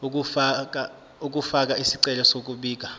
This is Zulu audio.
ukufaka isicelo sokubika